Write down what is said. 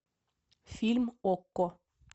фильм окко